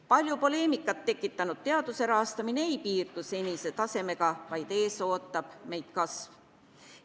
Palju poleemikat tekitanud teaduse rahastamine ei piirdu senise tasemega, vaid meid ootab ees kasv.